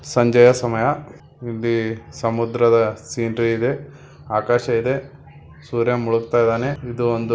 ಸಂಜೆಯ ಸಮಯಾ ಇಲ್ಲಿ ಸಮುದ್ರದ ಸೀನರಿ ಇದೆ ಆಕಾಶ ಇದೆ ಸೂರ್ಯ ಮೂಲಗುತ್ತಿದ್ದಾನೆ ಇದು ಒಂದು--